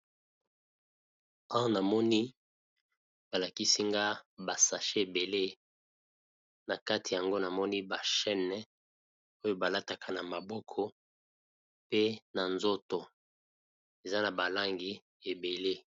Awa na na moni bal akisi nga ba sachets ebele, na kati yango na moni ba chaînes oyo ba lataka na maboko pe na nzoto, eza na ba langi ébélé .